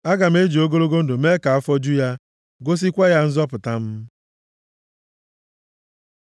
Aga m eji ogologo ndụ mee ka afọ ju ya, gosikwa ya nzọpụta m.”